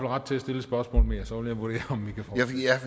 ret til at stille et spørgsmål mere og så vil